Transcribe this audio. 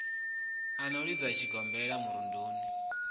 u no lidzwa tshigombelani murumba